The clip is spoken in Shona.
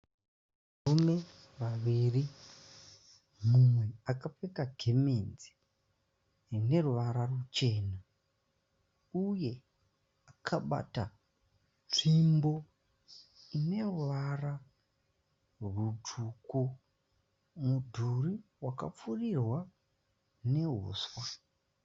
Varume vaviri mumwe akapfeka gemenzi rineruvara ruchena ,uye akabata svimbo ineruvara rusvuku. Mudhuri wakapfurirwa newusva.